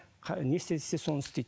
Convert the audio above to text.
не істе десе соны істейді